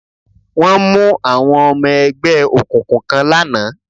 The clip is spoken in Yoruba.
Wọ́n mú àwọn ọmọ ẹgbẹ́ òkùnkùn kan lánàá